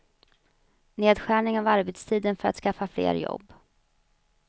Nedskärning av arbetstiden för att skaffa fler jobb.